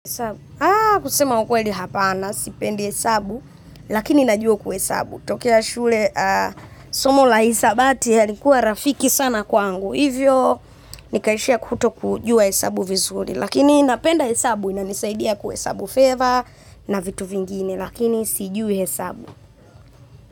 Kusema ukweli hapana, sipendi hesabu, lakini najua kuhesabu. Tokea shule somo la hisabati halikuwa rafiki sana kwangu hivyo nikaishia kutokujua hesabu vizuri. Lakini napenda hesabu, inanisaidia kuhesabu fedha na vitu vingine. Lakini, sijui hesabu.